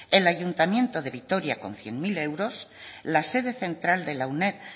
el ayuntamiento de vitoria con cien mil euros la sede central de la uned